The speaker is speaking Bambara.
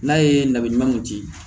N'a ye nali ɲumanw di